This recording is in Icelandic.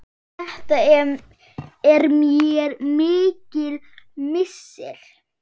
Þetta er mér mikill missir.